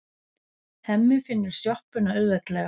Hemmi finnur sjoppuna auðveldlega.